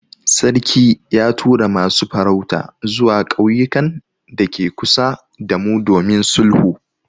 Sarki ya tura masu farauta zuwa ƙauyukan dake kusa damu domin sulhu.